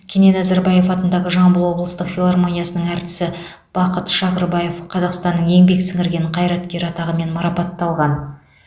кенен әзірбаев атындағы жамбыл облыстық филармониясының әртісі бақыт шағырбаев қазақстанның еңбек сіңірген қайраткері атағымен марапатталған